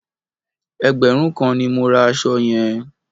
Ẹgbẹ̀rún kan ni mo ra aṣọ yẹn.